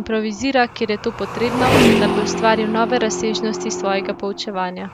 improvizira, kjer je to potrebno, da bi ustvaril nove razsežnosti svojega poučevanja.